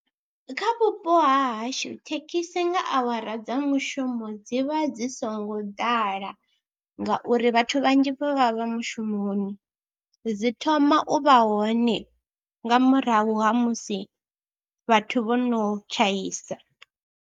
Kha vhupo ha hashu thekhisi nga awara dza mushumo dzi vha dzi songo ḓala ngauri vhathu vhanzhi vha vha vha mushumoni, dzi thoma u vha hone nga murahu ha musi vhathu vho no tshaisa.